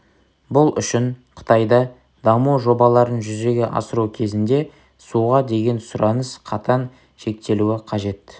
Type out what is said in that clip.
бұл үшін қытайда даму жобаларын жүзеге асыру кезінде суға деген сұраныс қатаң шектелуі қажет